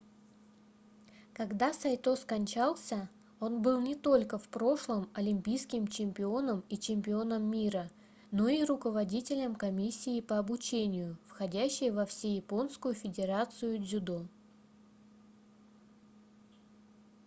когда сайто скончался он был не только в прошлом олимпийским чемпионом и чемпионом мира но и руководителем комиссии по обучению входящей во всеяпонскую федерацию дзюдо